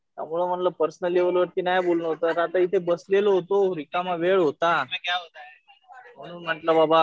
त्यामुळं म्हणलं personal level वरती नाही बोलणं होतं आहे. तर आता इथे बसलेलो होतो. रिकामा वेळ होता. म्हणून म्हणलं बाबा